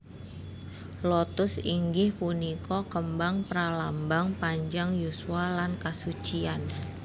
Lotus inggih punika kembang pralambang panjang yuswa lan kasucian